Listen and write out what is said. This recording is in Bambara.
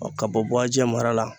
ka bɔ Buajɛ mara la